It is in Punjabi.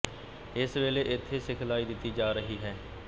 ਇਸ ਵੇਲੇ ਇੱਥੇ ਸਿਖਲਾਈ ਦਿੱਤੀ ਜਾ ਰਹੀ ਹੈ